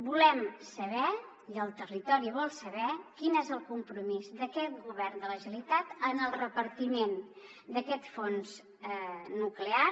volem saber i el territori vol saber quin és el compromís d’aquest govern de la generalitat en el repartiment d’aquest fons nuclear